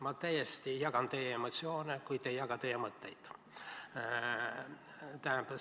Ma täiesti jagan teie emotsioone, kuid ei jaga teie mõtteid.